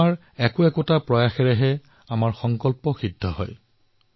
আমাৰ এটা এটা প্ৰয়াসৰ দ্বাৰাই আমাৰ সংকল্প পূৰণ হব